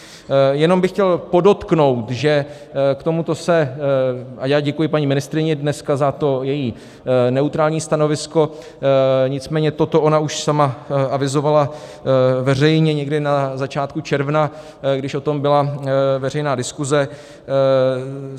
Jenom bych chtěl podotknout, že k tomuto se - a já děkuji paní ministryni dneska za to její neutrální stanovisko, nicméně toto ona už sama avizovala veřejně někdy na začátku června, když o tom byla veřejná diskuse.